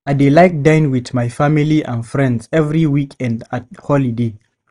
I dey like dine with my family and friends every weekend and holiday.